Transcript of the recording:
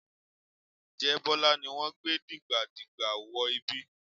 Ǹjẹ́ Bọ́lá ni wọ́n gbé dìgbàdìgbà wọ ibi?